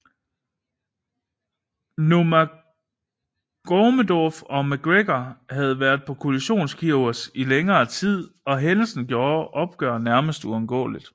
Nurmagomedov og McGregor havde været på kollisionskurs i længere tid og hændelsen gjorde et opgør nærmest uundgåeligt